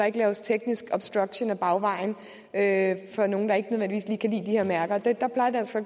ikke laves teknisk obstruktion ad bagvejen af nogle der ikke nødvendigvis kan kan lide de her mærker